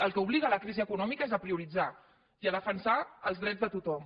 al que obliga la crisi econòmica és a prioritzar i a defensar els drets de tothom